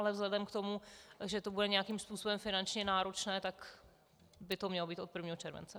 Ale vzhledem k tomu, že to bude nějakým způsobem finančně náročné, tak by to mělo být od 1. července.